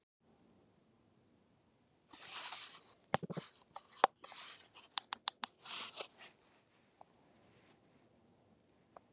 ökuskírteinið er tákn eða merki um það